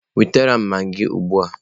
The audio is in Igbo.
Wetara m magịị ugbu a!